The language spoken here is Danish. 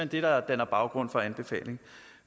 det der danner baggrund for anbefaling